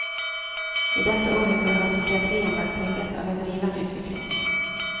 I dette århundret har psykiatrien vært preget av en rivende utvikling.